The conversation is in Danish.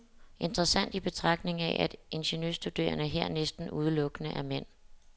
Interessant i betragtning af, at ingeniørstuderende her næsten udelukkende er mænd.